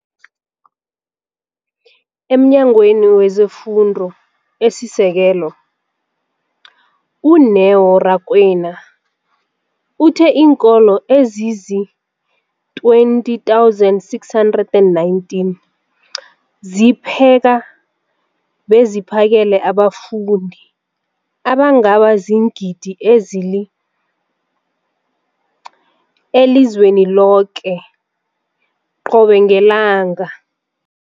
EmNyangweni wezeFundo esiSekelo, u-Neo Rakwena, uthe iinkolo ezizi-20 619 zipheka beziphakele abafundi abangaba ziingidi ezili-9 032 622 elizweni loke qobe ngelanga.